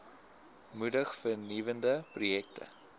moedig vernuwende projekte